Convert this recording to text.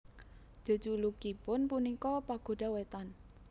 Jejulukipun punika Pagoda Wetan